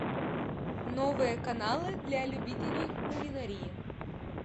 новые каналы для любителей кулинарии